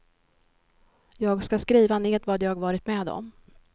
Jag ska skriva ned vad jag varit med om.